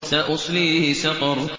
سَأُصْلِيهِ سَقَرَ